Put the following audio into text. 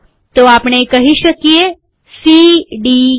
તો આપણે કહીં શકીએ સી ડી ઈ